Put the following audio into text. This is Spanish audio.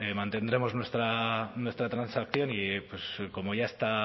mantendremos nuestra transacción y pues como ya está